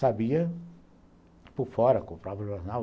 Sabia por fora, comprava o próprio jornal,